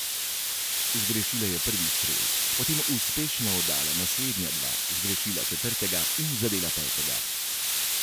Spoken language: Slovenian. Zgrešila je prvi strel, potem uspešno oddala naslednja dva, zgrešila četrtega in zadela petega.